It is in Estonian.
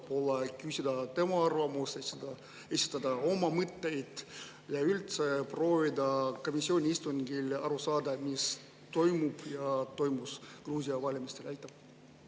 Võib-olla küsida tema arvamust, esitada oma mõtteid ja üldse proovida komisjoni istungil aru saada, mis toimus Gruusia valimistel ja mis toimub praegu?